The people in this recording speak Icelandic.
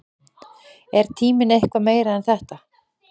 Er tíminn eitthvað meira en þetta?